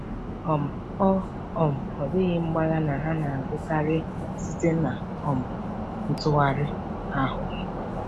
um Ọ um Ọ dịghị mgbagha na ha na-agụkarị site na um ntụgharị ahụ.